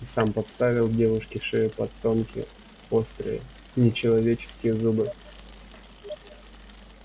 и сам подставил девушке шею под тонкие острые нечеловеческие зубы